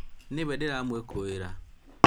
nĩwe ndĩramũĩkũĩra